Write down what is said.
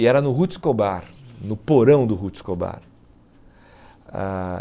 E era no Ruth Scobar, no porão do Ruth Scobar. Ah